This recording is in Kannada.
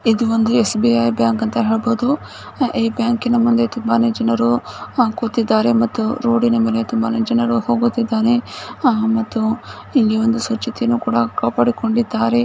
ಇದು ಒಂದು ಎಸ್.ಬಿ.ಐ ಬ್ಯಾಂಕ್ ಅಂತ ಹೇಳಬಹುದು ಈ ಬ್ಯಾಂಕಿ ನ ಮುಂದೆ ತುಂಬಾನೇ ಜನರು ಆ ಕೂತಿದ್ದಾರೆ ಮತ್ತೂ ರೋಡಿನ ಮೇಲೆ ತುಂಬಾನೇ ಜನರು ಹೋಗುತ್ತಿದ್ದಾರೆ ಆ ಮತ್ತು ಇಲ್ಲಿ ಸ್ವಚ್ಛತೆಯನ್ನೂ ಕೂಡ ಕಾಪಾಡಿಕೊಂಡಿದ್ದಾರೆ.